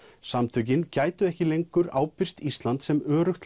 samtökin gætu ekki lengur ábyrgst Ísland sem öruggt